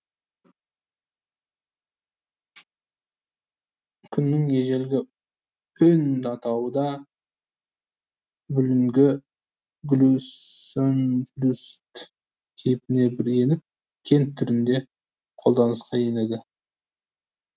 күннің ежелгі өн атауы да бүгінгі гплюсөнплюсд кейпіне бір еніп кент түрінде қолданысқа енеді